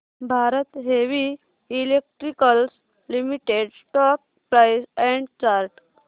Bharat heavy electricals limited stock price and chart